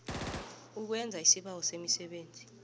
owenza isibawo semisebenzi